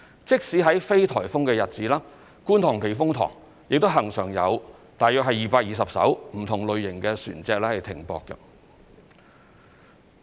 即使在非颱風的日子，觀塘避風塘亦恆常有大約220艘不同類型的船隻停泊。